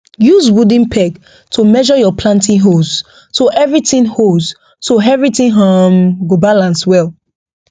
use wooden peg to measure your planting holes so everything holes so everything um go balance well